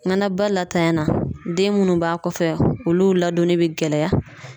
na ba latanyana den munnu b'a kɔfɛ olu ladonni bi gɛlɛya.